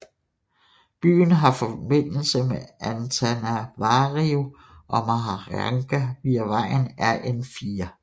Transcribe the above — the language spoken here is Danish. Byen har forbindelse med Antananarivo og Mahajanga via vejen RN4